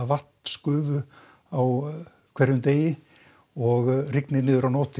vatnsgufu á hverjum degi og rignir að nóttu